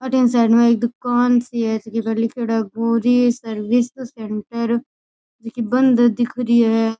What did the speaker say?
अठीने साइड में एक दूकान सी है जकी पर लिखोड़ो है गोरी सर्विस सेण्टर जकी बंद दिख री है।